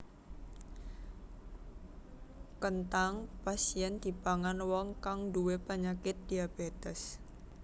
Kenthang pas yèn dipangan wong kang nduwé penyakit diabétes